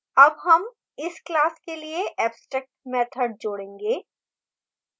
add हम इस class के लिए abstract मैथड जोडेंगे